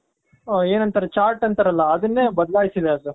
ಏನಂತಾರೆ chart ಅಂತರಲ ಅದುನ್ನೇ ಬದಲಾಯ್ಸಿದಾರೆ ಅದು